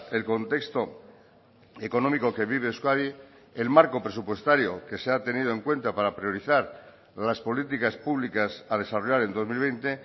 el contexto económico que vive euskadi el marco presupuestario que se ha tenido en cuenta para priorizar las políticas públicas a desarrollar en dos mil veinte